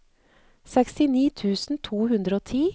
sekstini tusen to hundre og ti